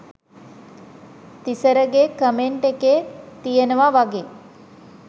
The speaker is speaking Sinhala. තිසරගෙ කමෙන්ට් එකේ තියනව වගේ